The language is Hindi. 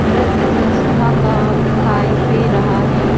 नृत्या संस्था का दिखाई दे रहा हे ।